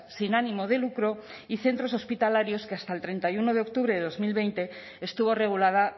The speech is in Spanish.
sin ánimo de lucro y centros hospitalarios que hasta el treinta y uno de octubre de dos mil veinte estuvo regulada